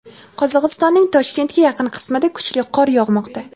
Qozog‘istonning Toshkentga yaqin qismida kuchli qor yog‘moqda.